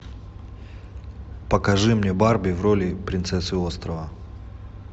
покажи мне барби в роли принцессы острова